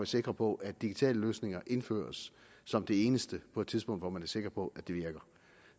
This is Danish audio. sikre på at digitale løsninger indføres som det eneste på et tidspunkt hvor man er sikker på at det virker